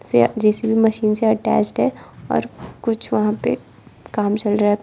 यह JCB machine से attached है और कुछ वहां पे काम चल रहा है।